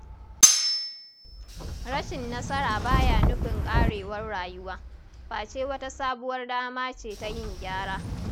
Rashin nasara baya nufin ƙarewar rayuwa, face wata sabuwar dama ce ta yin gyara.